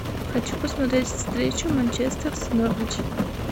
хочу посмотреть встречу манчестер с норвич